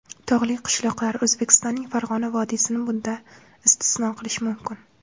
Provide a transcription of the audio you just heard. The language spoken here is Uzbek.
Tog‘li qishloqlar, O‘zbekistonning Farg‘ona vodiysini bundan istisno qilish mumkin.